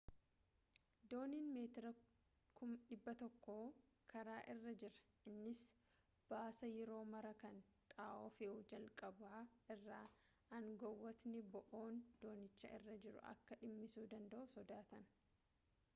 dooniin meetira 100 karaa irra jira innis ba'aasaa yeroo maraa kan xaa'oo fe'u jalqaba irraa aangawootni bo'oon doonicha irra jiru akka dhimmisuu danda'u sodaatan